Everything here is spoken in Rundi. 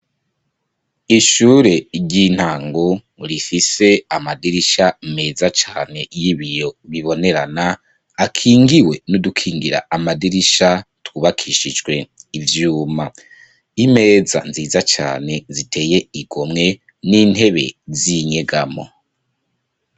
Ishure ry'intango rifise amadirisha meza cane y'ibiyo bibonerana akingiwe n'udukingira amadirisha twubakishijwe ivyuma, imeza nziza cane ziteye igomwe n'intebe z'inyegamo.